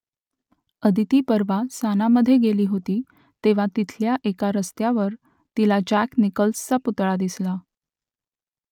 आदिती परवा सानामधे गेली होती तेव्हा तिथल्या एका रस्त्यावर तिला जॅक निकल्सचा पुतळा दिसला